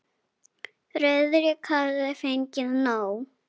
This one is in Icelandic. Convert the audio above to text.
Friðrik hafði fengið nóg.